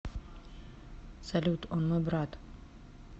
салют он мой брат